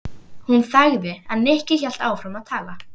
Hún þagði en Nikki hélt áfram að tala.